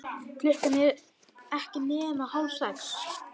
Klukkan ekki nema hálf sex.